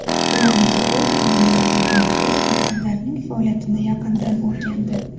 Ularning o‘quv jarayonlari bilan tanishib, maktablarning faoliyatini yaqindan o‘rgandi.